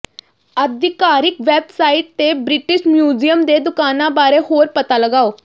ਆਧਿਕਾਰਿਕ website ਤੇ British Museum ਦੇ ਦੁਕਾਨਾਂ ਬਾਰੇ ਹੋਰ ਪਤਾ ਲਗਾਓ